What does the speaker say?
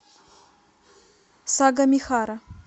сагамихара